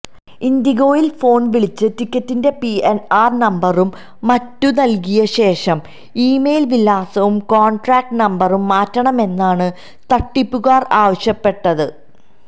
ഇൻഡിഗോയിൽ ഫോൺവിളിച്ച് ടിക്കറ്റിന്റെ പിഎൻആർ നമ്പരും മറ്റും നൽകിയശേഷം ഇമെയിൽവിലാസവും കോൺടാക്റ്റ് നമ്പരും മാറ്റണമെന്നാണ് തട്ടിപ്പുകാർആവശ്യപ്പെട്ടത്